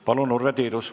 Palun, Urve Tiidus!